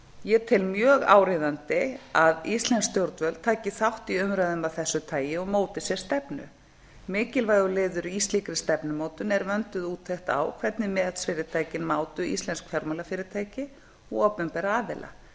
ég tel mjög áríðandi er að íslensk stjórnvöld taki þátt í umræðum af þessu tagi og móti sér stefnu mikilvægur liður í slíkri stefnumótun er vönduð úttekt á hvernig matsfyrirtækin mátu íslensk fjármálafyrirtæki og opinbera